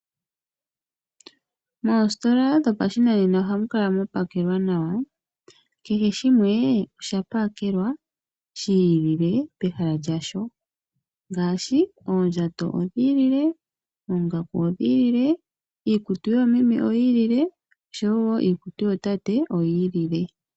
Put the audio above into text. Moositola dhopashinanena ohamu kala mwa pakelwa nawa. Kehe shimwe oshapakelwa shi ilile pehala lyasho ngaashi oondjato, oongaku, iikutu yoomeme noshowo iikutu yootate oyi ilile.